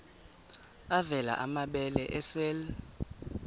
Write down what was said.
avela amabele esel